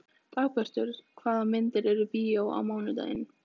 Dagbjartur, hvaða myndir eru í bíó á mánudaginn?